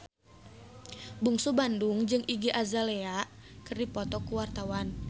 Bungsu Bandung jeung Iggy Azalea keur dipoto ku wartawan